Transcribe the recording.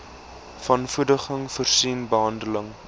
wanvoeding voorsien behandeling